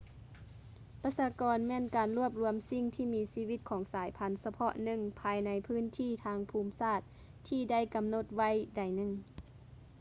ປະຊາກອນ ແມ່ນການລວບລວມສິ່ງມີຊີວິດຂອງສາຍພັນສະເພາະໜຶ່ງ ພາຍໃນພື້ນທີ່ທາງພູມສາດທີ່ໄດ້ກຳນົດໄວ້ໃດໜຶ່ງ